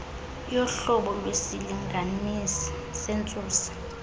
yohlobo lwesilinganisi sentsusa